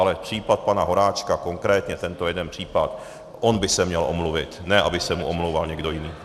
Ale případ pana Horáčka, konkrétně tento jeden případ - on by se měl omluvit, ne aby se mu omlouval někdo jiný.